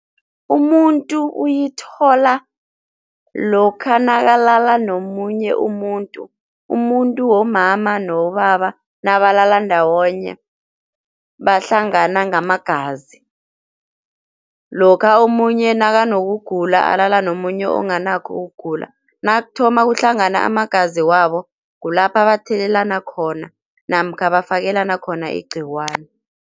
Umuntu uyithola lokha nakalala nomunye umuntu, umuntu womama nowobaba nabalala ndawonye bahlangana ngamagazi, lokha omunye nakanokugula alala nomunye onganakho ukugula nakuthoma kuhlangana amagazi wabo kulapha bathelelana khona namkha bafakelana khona igcikwani.